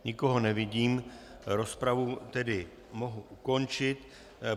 Nikoho nevidím, rozpravu tedy mohu ukončit.